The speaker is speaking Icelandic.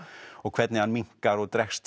og hvernig hann minnkar og dregst